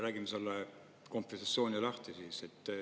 Räägime selle kompensatsiooni lahti.